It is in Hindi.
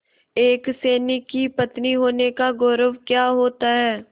एक सैनिक की पत्नी होने का गौरव क्या होता है